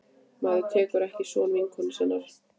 Maður tekur ekki son vinkonu sinnar.